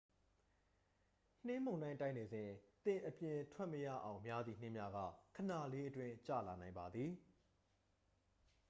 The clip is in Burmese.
နှင်းမုန်တိုင်းတိုက်နေစဉ် သင်အပြင်ထွက်မရအောင်များသည့် နှင်းများက ခဏလေးအတွင်း ကျလာနိုင်ပါသည်